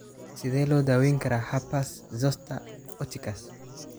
Sidee loo daweyn karaa herpes zoster oticus?